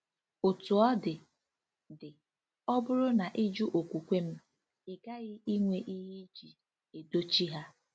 Otú ọ dị, dị, ọ bụrụ na ị jụ okwukwe m, ị ghaghị inwe ihe iji edochi ha.